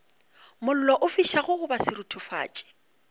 mollo o fišago goba seruthufatši